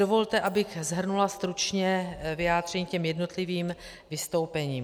Dovolte, abych shrnula stručně vyjádření k jednotlivým vystoupením.